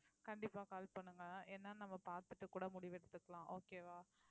கண்டிப்பா call பண்ணுங்க ஏன்னா நம்ம பார்த்துட்டு கூட முடிவெடுத்துக்கலாம் okay வா